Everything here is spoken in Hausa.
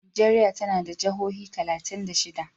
Najeriya tana da jihohi talatin da shida.